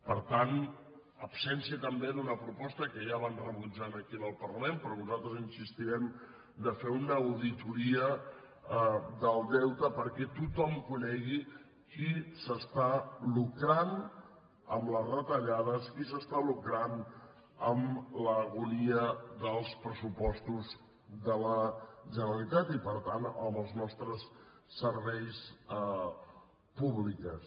per tant absència també d’una proposta que ja van rebutjar aquí en el parlament però nosaltres insistirem de fer una auditoria del deute perquè tothom conegui qui s’està lucrant amb les retallades qui s’està lucrant amb l’agonia dels pressupostos de la generalitat i per tant amb els nostres serveis públics